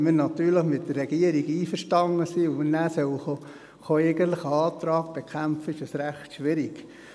Wenn wir natürlich mit der Regierung einverstanden sind und nachher einen Antrag bekämpfen kommen sollten, dann ist es recht schwierig.